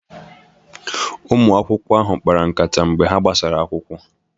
Ụmụ akwụkwọ ahụ kpara nkata mgbe ha gbasara akwụkwọ.